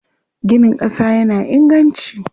Ginin ƙasa yana inganci.